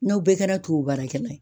N'aw bɛɛ kɛra tubabu baarakɛla ye